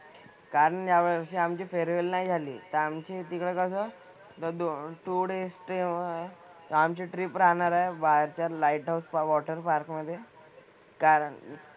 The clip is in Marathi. कारण यावर्षी आमची फेअरवेल नाही झाली. तर आमचे तिथं कसं थोडे स्टे ओव्हर आहे. तर आमची ट्रिप राहणार आहे बाहेरच्या लाईट हाऊस वॉटर पार्क मधे. कारण,